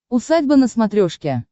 усадьба на смотрешке